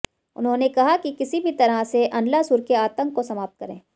उन्होंने कहा कि किसी भी तरह से अनलासुर के आतंक को समाप्त करें